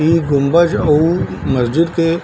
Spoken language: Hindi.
इ गुम्बज और मस्जिद के --